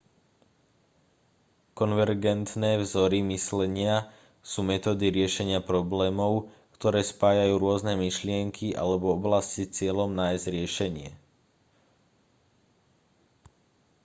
konvergentné vzory myslenia sú metódy riešenia problémov ktoré spájajú rôzne myšlienky alebo oblasti s cieľom nájsť riešenie